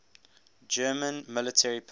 german military personnel